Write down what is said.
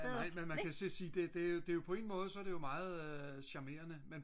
man kan så sige det er jo på en måde så er det jo meget charmerende